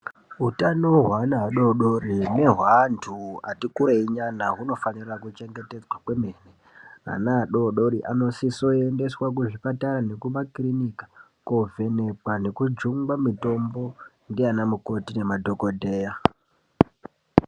Utano wevana vadoodori newevanhu vati kurei hunofanirwa kuchengetedzwa kwemene ana adoodori anosiswe kuendeswa kuzvipatara nekumakirinika kovhenekwa nekujungwa mitombo ndiana mikoti nemadhokoteya.